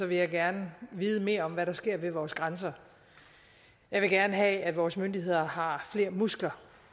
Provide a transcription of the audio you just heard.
vil jeg gerne vide mere om hvad der sker ved vores grænser jeg vil gerne have at vores myndigheder har flere muskler